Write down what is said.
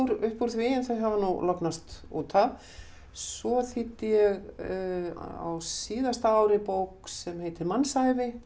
upp úr því en þau hafa nú lognast út af svo þýddi ég á síðasta ári bók sem heitir mannsævi eftir